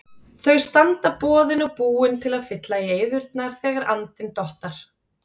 Þau standa boðin og búin til að fylla í eyðurnar, þegar andinn dottar.